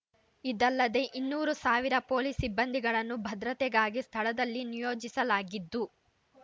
ಇದಲ್ಲದೆ ಇನ್ನೂರು ಸಾವಿರ ಪೊಲೀಸ್ ಸಿಬ್ಬಂದಿಗಳನ್ನು ಭದ್ರತೆಗಾಗಿ ಸ್ಥಳದಲ್ಲಿ ನಿಯೋಜಿಸಲಾಗಿದ್ದು